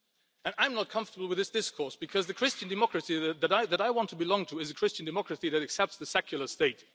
And I am not comfortable with this discourse because the Christian democracy that I want to belong to is a Christian democracy that accepts the secular state.